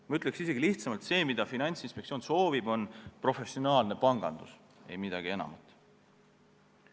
Ma ütleks isegi lihtsamalt: see, mida Finantsinspektsioon soovib, on professionaalne pangandus, ei midagi enamat.